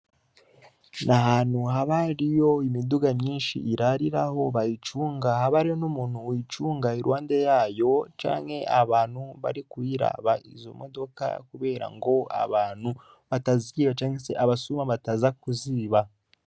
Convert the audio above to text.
Ahantu haba hariyo imiduga myinshi irariraho aho bayicunga haba hariho n'umuntu yoyicunga iruhande yayo canke aba bantu bari barikuyiraba izo modoka kubera ngo abantu bataziba canke abasuma bataza kuziba.